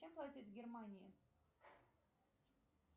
чем платить в германии